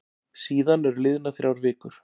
Síðan eru liðnar þrjár vikur.